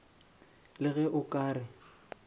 le ge o ka re